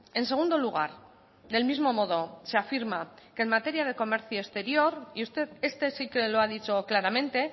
en segundo lugar del mismo modo se afirma que en materia de comercio exterior y usted este sí que lo ha dicho claramente